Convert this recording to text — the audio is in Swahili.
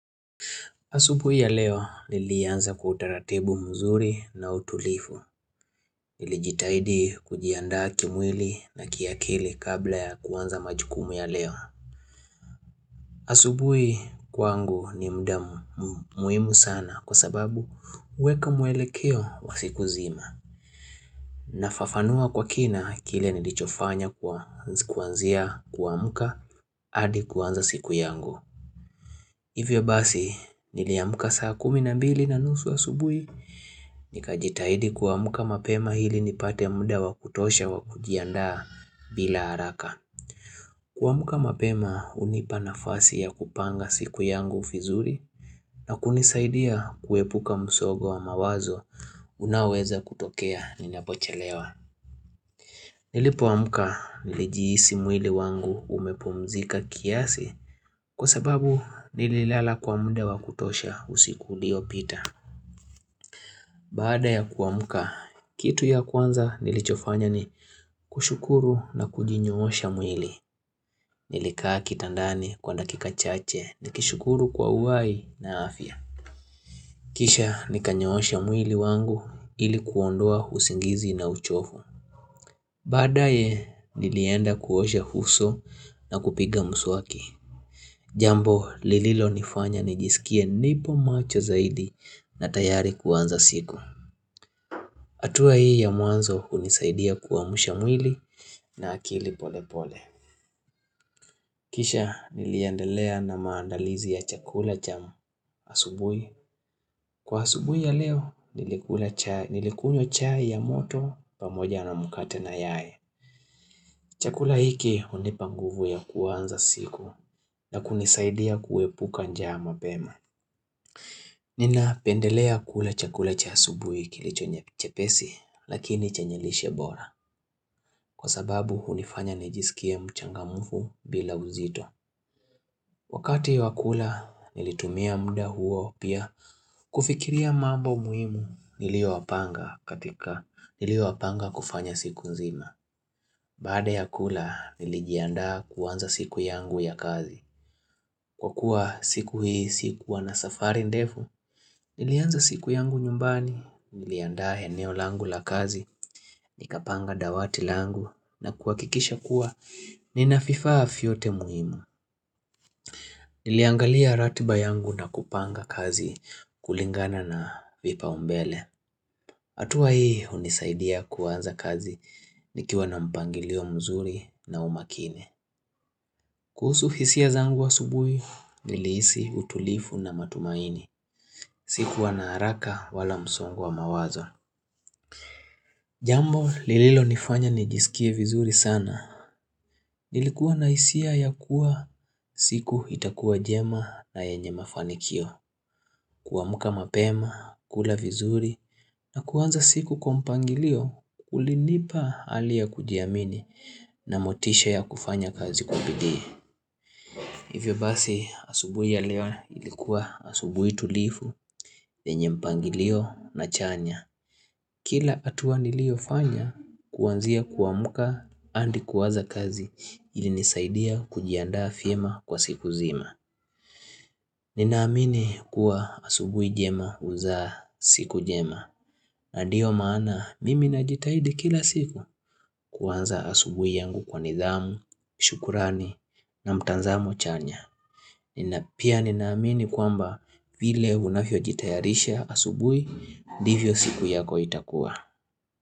Asubui ya leo nilianza kwa utaratibu mzuri na utulivu. Nilijitahidi kujiandaa kimwili na kiakili kabla ya kuanza majukumu ya leo. Asubui kwangu ni mda muhimu sana kwa sababu huweka muelekeo wa siku zima. Nafafanua kwa kina kile nilichofanya kwa kuanzia kuamka hadi kuanza siku yangu. Hivyo basi, niliamka saa kumi na mbili na nusu asubui, nikajitahidi kuamka mapema ili nipate muda wa kutosha wa kujiandaa bila haraka. Kuamka mapema, hunipa nafasi ya kupanga siku yangu vizuri na kunisaidia kuepuka msogo wa mawazo unao weza kutokea ninapochelewa. Nilipoamuka nilijihisi mwili wangu umepomzika kiasi kwa sababu nililala kwa mda wa kutosha usiku uliopita. Baada ya kuamuka, kitu ya kwanza nilichofanya ni, kushukuru na kujinyoosha mwili, nilikaa kitandani kwa dakika chache nikishukuru kwa uhai na afya. Kisha nikanyoosha mwili wangu ili kuondoa usingizi na uchovu. Badaye, nilienda kuosha huso na kupiga mswaki. Jambo lililo nifanya nijisikie nipo macho zaidi na tayari kuanza siku. Hatua hii ya mwanzo hunisaidia kuamsha mwili na akili pole pole. Kisha niliendelea na maandalizi ya chakula cha asubui. Kwa asubui ya leo nilikula chai Nilikunywa chai ya moto pamoja na mkate na yai. Chakula hiki hunipa nguvu ya kuanza siku, na kunisaidia kuepuka njaa mapema. Nina pendelea kula chakula cha asubui kilicho chepesi lakini chenye lishe bora kwa sababu hunifanya nijisikie mchangamufu bila uzito. Wakati wakula nilitumia muda huo pia kufikiria mambo muhimu niliyo yapanga katika niliyo yapanga kufanya siku nzima. Baada ya kula, nilijiaanda kuanza siku yangu ya kazi. Kwa kuwa siku hii sikuwa na safari ndefu, Nilianza siku yangu nyumbani. Niliandaa eneo langu la kazi Nikapanga dawati langu, na kuhakikisha kuwa nina vifaa vyote muhimu. Niliangalia ratiba yangu na kupanga kazi kulingana na vipaumbele hatua hii hunisaidia kuanza kazi nikiwa na mpangilio mzuri na umakini. Kuhusu hisia zangu asubuhi, nilisi utulifu na matumaini. Sikuwa na haraka wala msongo wa mawazo. Jambo lililo nifanya nijisikie vizuri sana. Nilikuwa na hisia ya kuwa siku itakuwa jema na yenye mafanikio. Kuamka mapema, kula vizuri, na kuanza siku kwa mpangilio, ulinipa hali ya kujiamini na motisha ya kufanya kazi kwa bidii. Hivyo basi asubui ya leoa ilikuwa asubui tulifu venye mpangilio na chanya Kila atuwa niliyofanya, kuwanzia kuamka adi kuwaza kazi ilinisaidia kujiandaa vyema kwa siku zima Ninaamini kuwa asubui jema uzaa siku jema Nandio maana mimi najitaidi kila siku kuwanza asubui yangu kwa nidhamu, shukurani na mtanzamo chanya Pia ninaamini kwamba vile unavyo jitayarisha asubuhi Ndivyo siku yako itakuwa.